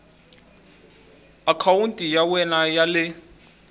akhawunti ya wena ya le